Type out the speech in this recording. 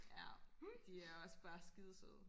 ja de er også bare skide søde